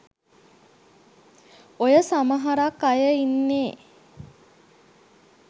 ඔය සමහරක් අය ඉන්නේ